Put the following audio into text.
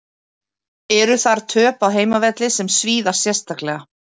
Eru þar töp á heimavelli sem svíða sérstaklega.